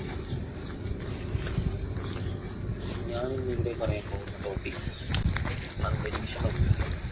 ഞാനിന്നിവിടെ പറയാൻ പോകുന്ന topic അന്തരീക്ഷ മലിനീകരണം.